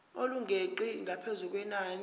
elingeqi ngaphezu kwenani